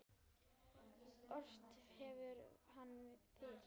Ort hefur hann fyrr.